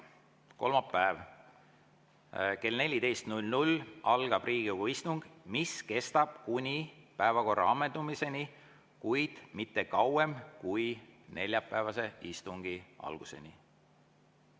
Kolmapäeval kell 14 algab Riigikogu istung, mis kestab kuni päevakorra ammendumiseni, kuid mitte kauem kui neljapäevase istungi alguseni.